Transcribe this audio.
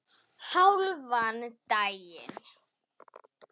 Hálfan daginn.